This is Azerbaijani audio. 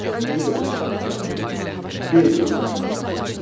Bu da yaxın gələcəkdə qeyri-mümkün görsənir.